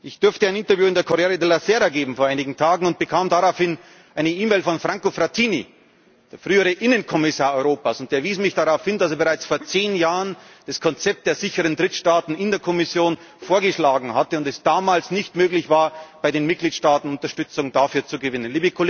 lesen! Ich durfte vor einigen Tagen ein Interview im Corriere della Sera geben und bekam daraufhin eine E Mail von Franco Frattini, dem früheren Innenkommissar Europas, und der wies mich darauf hin, dass er bereits vor zehn Jahren das Konzept der sicheren Drittstaaten in der Kommission vorgeschlagen hatte und es damals nicht möglich war, bei den Mitgliedstaaten Unterstützung dafür zu